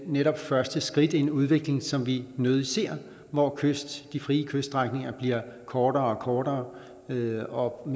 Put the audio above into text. netop første skridt i en udvikling som vi nødig ser hvor de frie kyststrækninger bliver kortere og kortere og mere og